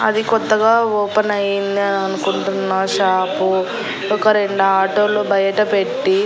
అది కొత్తగా ఓపెన్ అయిందా అనుకుంటున్నా షాపు ఒక రెండాటోలు బయటపెట్టి--